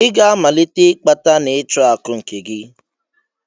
I ga-amalite ịkpata na ịchụ akụ nke gị!